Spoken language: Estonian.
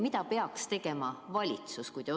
Mida peaks tegema valitsus?